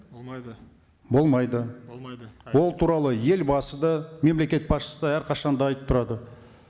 болмайды болмайды болмайды ол туралы елбасы да мемлекет басшысы да әрқашан да айтып тұрады